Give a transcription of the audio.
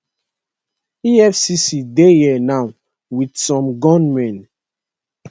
efcc dey here now wit some gunmen